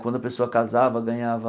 Quando a pessoa casava, ganhava